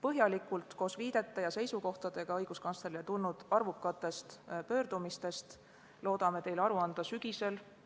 Õiguskantslerile tulnud arvukatest pöördumistest koos viidete ja seisukohtadega loodame teile põhjalikult aru anda sügisel.